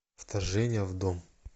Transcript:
вторжение в дом